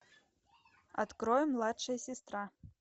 открой младшая сестра